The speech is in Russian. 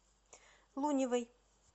луневой